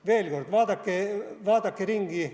Veel kord: vaadake ringi.